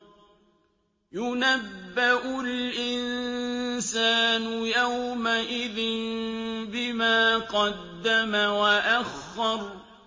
يُنَبَّأُ الْإِنسَانُ يَوْمَئِذٍ بِمَا قَدَّمَ وَأَخَّرَ